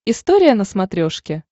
история на смотрешке